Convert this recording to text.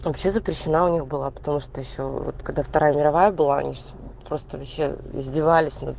вообще запрещено у них было потому что ещё вот когда вторая мировая было просто вообще издевались над